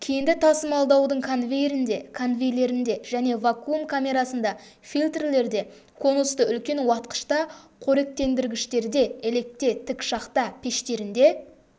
кенді тасымалдаудың конвейерінде конвейерлерінде және вакуум камерасында фильтрлерде конусты үлкен уатқышта қоректендіргіштерде електе тік шахта пештерінде